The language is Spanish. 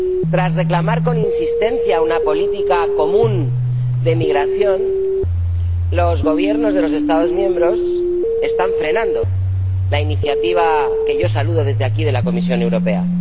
Tras reclamar con insistencia una política común de migración, los Gobiernos de los Estados miembros están frenando la iniciativa —que yo saludo desde aquí— de la Comisión Europea.